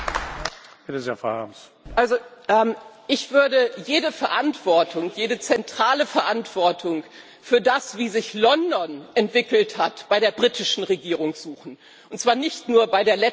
Ich würde jede Verantwortung, jede zentrale Verantwortung für das, wie sich London entwickelt hat, bei der britischen Regierung suchen, und zwar nicht nur bei der letzten Regierung, sondern auch bei einigen davor.